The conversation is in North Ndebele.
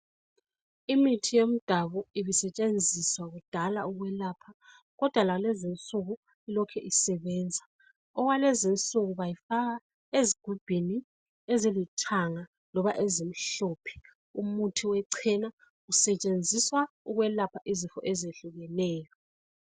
Imithi yomdabu ibisetshenziswa kudala ukwelapha kodwa lalezinsuku ilokhe isebenza, okwalezi insuku bawufaka ezigubhini ezilithanga loba ezimhlophe, umuthi wechena usetshenziswa ukwelapha izifo ezehlukeneyo.